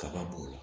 Kaba b'o la